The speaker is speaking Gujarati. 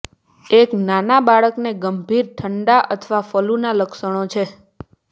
એક નાના બાળકને ગંભીર ઠંડા અથવા ફલૂના લક્ષણો છે